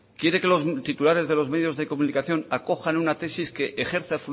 quiere que los titulares de los medios de comunicación acojan una tesis que ejerce